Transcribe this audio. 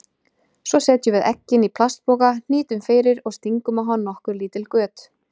Svo setjum við eggin í plastpoka, hnýtum fyrir og stingum á hann nokkur lítil göt.